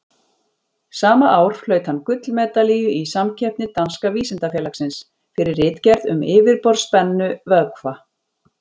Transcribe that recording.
Sama ár hlaut hann gullmedalíu í samkeppni Danska vísindafélagsins, fyrir ritgerð um yfirborðsspennu vökva.